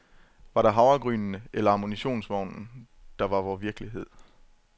Var det havregrynene eller ammunitionsvognen, der var vor virkelighed?